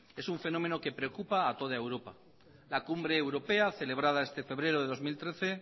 es un fenómeno que preocupa a toda europa en la cumbre europea celebrada este febrero de dos mil trece